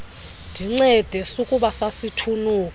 ndincede sukuba sasithunuka